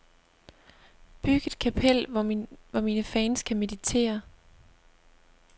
Byg et kapel, hvor mine fans kan meditere.